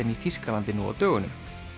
í Þýskalandi nú á dögunum